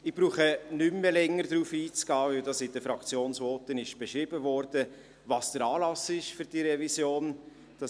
Ich brauche nicht mehr länger darauf einzugehen, weil in den Fraktionsvoten beschrieben wurde, was der Anlass für diese Revision ist.